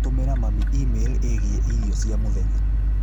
Tũmĩra mami e-mail ĩgiĩ irio cia mũthenya